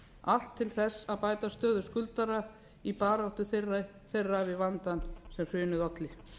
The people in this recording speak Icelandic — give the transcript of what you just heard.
allt til að bæta stöðu skuldara í baráttu þeirra við vandann sem hrunið olli